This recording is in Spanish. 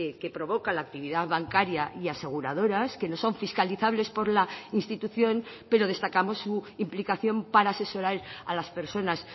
que provoca la actividad bancaria y aseguradoras que no son fiscalizables por la institución pero destacamos su implicación para asesorar a las personas